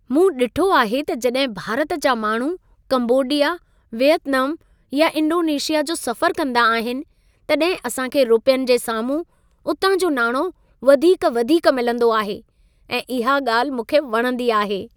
मूं ॾिठो आहे त जॾहिं भारत जा माण्हू कंबोडिया, वियतनाम या इंडोनेशिया जो सफ़रु कंदा आहिनि तॾहिं असां खे रुपियनि जे साम्हूं उतां जो नाणो वधीक वधीक मिलंदो आहे ऐं इहा ॻाल्हि मूंखे वणंदी आहे।